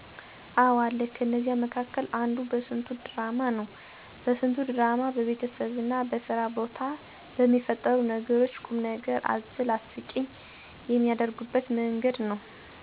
አዎ አለ። ከነዚያ መካከል አንዱ በስንቱ ድራማ ነው። በስንቱ ድራማ በቤተሰብና በስራ ቦታ በሚፈጠሩ ነገሮች ቁምነገር አዘል አስቂኝ የሚያደርጉበት መንገድ ነው።